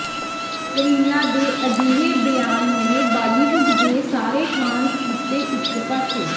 ਕਰੀਨਾ ਦੇ ਅਜਿਹੇ ਬਿਆਨ ਨੇ ਬਾਲੀਵੁੱਡ ਦੇ ਸਾਰੇ ਖਾਨਜ਼ ਕੀਤੇ ਇਕ ਪਾਸੇ